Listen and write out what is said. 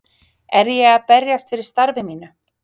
Er ég að berjast fyrir starfi mínu?